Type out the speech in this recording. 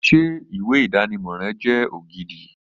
Ṣé ìwé ìdánimọ̀ rẹ jẹ́ ògidì